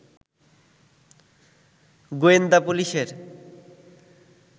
গোয়েন্দা পুলিশের